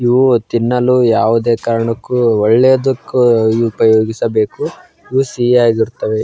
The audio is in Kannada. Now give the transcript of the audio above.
ಇವು ತಿನ್ನಲು ಯಾವುದೇ ಕಾರಣಕ್ಕೂ ಒಳ್ಳೆಯದುಕ್ಕೆ ಉಪಯೋಗಿಸಬೇಕು ಇವು ಸಿಹಿಯಾಗಿ ಇರ್ತವೇ.